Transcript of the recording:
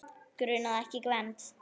Grunaði ekki Gvend.